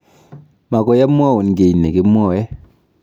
Mokoi amwaun kiy nekimwoe.